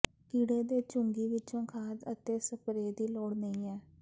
ਕੀੜੇ ਦੇ ਚੂੰਗੀ ਵਿਚੋਂ ਖਾਦ ਅਤੇ ਸਪਰੇਅ ਦੀ ਲੋੜ ਨਹੀਂ ਹੈ